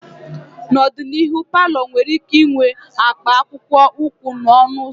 N'ọdịnihu, palọ nwere ike ịnwe akwa akpụkpọ ụkwụ n'ọnụ ụzọ.